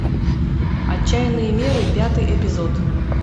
отчаянные меры пятый эпизод